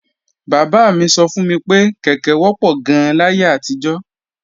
Bàbá mi sọ fún mi pé kèké wọ́pọ̀ gan-an láyé àtijọ́